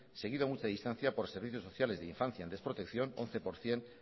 seguido a mucha distancia por servicios sociales de infancia en desprotección once por ciento